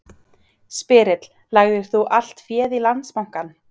Spyrill: Lagðir þú allt féð í Landsbankann?